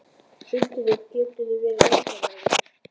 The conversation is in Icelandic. Sindri: Geturðu verið nákvæmari?